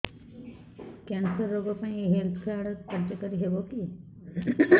cancer ରୋଗ ପାଇଁ ଏଇ ହେଲ୍ଥ କାର୍ଡ କାର୍ଯ୍ୟକାରି ହେବ କି